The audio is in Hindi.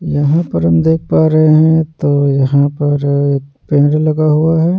यहां पर हम देख पा रहे हैं तो यहां पर पेड़ लगा हुआ है।